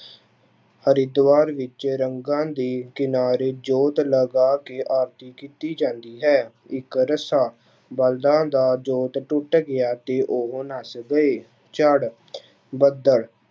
ਹਰਿਦੁਆਰ ਵਿੱਚ ਰੰਗਾਂ ਦੀ ਕਿਨਾਰੇ ਜੋਤ ਲਗਾ ਕੇ ਆਰਤੀ ਕੀਤੀ ਜਾਂਦੀ ਹੈ, ਇੱਕ ਰੱਸਾ, ਬਲਦਾਂ ਦਾ ਜੋਤ ਟੁੱਟ ਗਿਆ ਤੇ ਉਹ ਨੱਸ ਗਏ, ਚੜ ਬੱਦਲ